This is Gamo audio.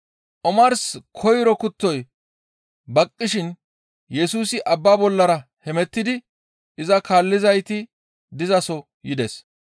Omars koyro kuttoy baqqishin Yesusi abba bollara hemettidi iza kaallizayti dizaso yides.